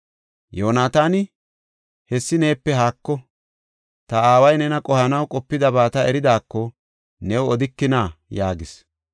Yoonataani, “Hessi neepe haako; ta aaway nena qohanaw qopidaba ta eridaako, new odikina?” yaagis.